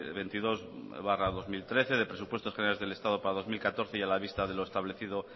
veintidós barra dos mil trece de presupuestos generales del estado para dos mil catorce y a la vista de lo establecido